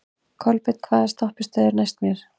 Kolbeinn, hvaða stoppistöð er næst mér?